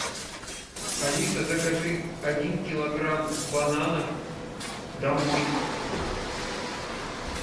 алиса закажи один килограмм бананов домой